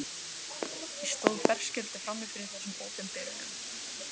Ég stóð berskjölduð frammi fyrir þessum opinberunum.